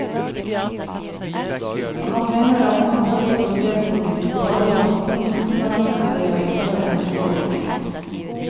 Han mener at man først bør se på de totale samfunnskostnadene ved å innføre en slik ordning.